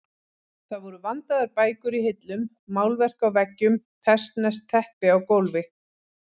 Það voru vandaðar bækur í hillum, málverk á veggjum, persneskt teppi á gólfi.